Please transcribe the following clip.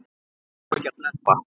Hann á ekki að sleppa.